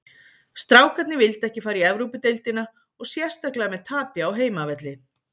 Strákarnir vildu ekki fara í Evrópudeildina og sérstaklega með tapi á heimavelli.